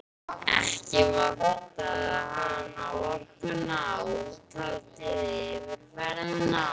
Ekki vantaði hana orkuna, úthaldið, yfirferðina.